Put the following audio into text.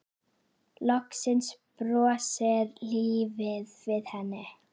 Loksins brosir lífið við henni.